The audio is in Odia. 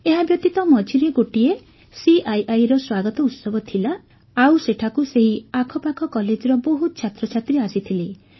ଏହାବ୍ୟତୀତ ମଝିରେ ଗୋଟିଏ ସିଆଇଆଇର ସ୍ୱାଗତ ଉତ୍ସବ ଥିଲା ଆଉ ସେଠାକୁ ସେହି ଆଖପାଖ କଲେଜର ବହୁତ ଛାତ୍ରଛାତ୍ରୀ ଆସିଥିଲେ